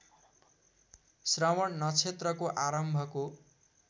श्रवण नक्षत्रको आरम्भको